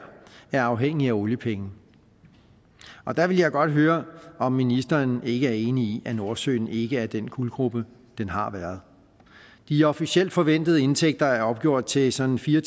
er afhængig af oliepenge og der vil jeg godt høre om ministeren ikke er enig i at nordsøen ikke er den guldgrube den har været de officielt forventede indtægter er opgjort til sådan fire